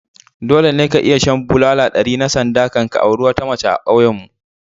Dole ne ka iya shan bulala ɗari na sanda ka auri wata mace a ƙauyenmu